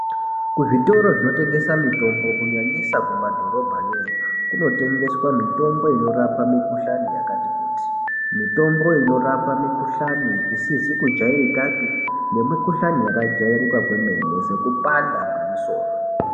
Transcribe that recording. Kuzvitoro zvinotengesa mitombo kunyanyisa kumadhorobhayo kunotengeswa mitombo inorapa mikuhlani yakati kuti. Mitombo inorapa mikuhlani isisizi kujaizikapi nemukuhlani yakajairika kwemene sekupanda kwemisoro .